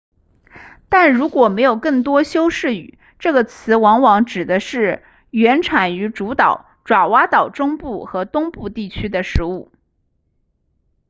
但如果没有更多修饰语这个词往往指的是原产于主岛爪哇岛中部和东部地区的食物